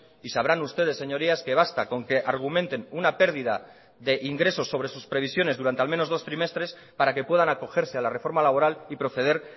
y sabrán ustedes señorías que basta con que argumenten una pérdida de ingresos sobre sus previsiones durante al menos dos trimestres para que puedan acogerse a la reforma laboral y proceder